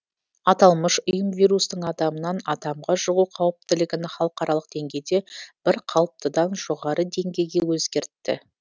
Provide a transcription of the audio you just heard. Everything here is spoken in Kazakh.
аталмыш ұйым вирустың адамнан адамға жұғу қауіптілігін халықаралық деңгейде бірқалыптыдан жоғары деңгейге өзгертті